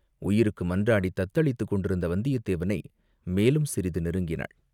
உயிருக்கு மன்றாடித் தத்தளித்துக் கொண்டிருந்த வந்தியத்தேவனை மேலும் சிறிது நெருங்கினாள்.